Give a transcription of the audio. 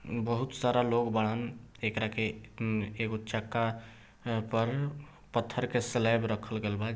बहुत सारा लोग बान्द कर के वो चका पर पथर का स्लैब रखे गयी है।